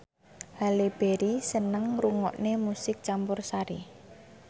Halle Berry seneng ngrungokne musik campursari